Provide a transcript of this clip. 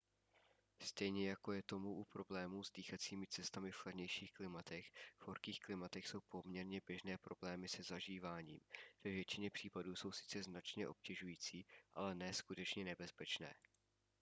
stejně jako je tomu u problémů s dýchacími cestami v chladnějších klimatech v horkých klimatech jsou poměrně běžné problémy se zažíváním ve většině případů jsou sice značně obtěžující ale ne skutečně nebezpečné